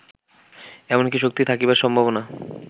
এমন কি শক্তি থাকিবার সম্ভাবনা